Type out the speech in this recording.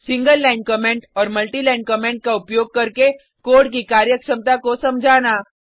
single line comment और multi line comment का उपयोग करके कोड की कार्यक्षमता को समझाना